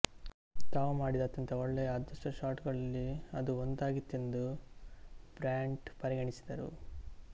ತಾವು ಮಾಡಿದ ಅತ್ಯಂತ ಒಳ್ಳೆಯ ಅದೃಷ್ಟದ ಶಾಟ್ ಗಳಲ್ಲಿ ಅದು ಒಂದಾಗಿತ್ತೆಂದು ಬ್ರ್ಯಾಂಟ್ ಪರಿಗಣಿಸಿದರು